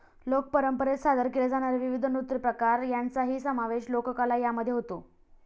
लोक परंपरेत सादर केले जाणारे विविध नृत्यप्रकार यांचाही समावेश लोककला यामध्ये होतो.